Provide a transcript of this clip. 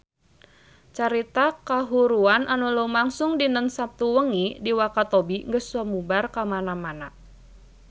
Carita kahuruan anu lumangsung dinten Saptu wengi di Wakatobi geus sumebar kamana-mana